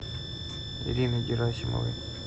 ирины герасимовой